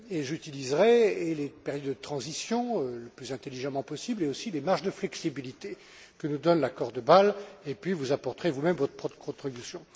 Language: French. J'utiliserai les périodes de transition le plus intelligemment possible et aussi les marges de flexibilité que nous donne l'accord de Bâle, et puis vous apporterez vous même votre propre contribution.